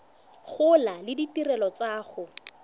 gola le ditirelo tsa go